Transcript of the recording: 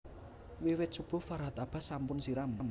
Wiwit subuh Farhat Abbas sampun siram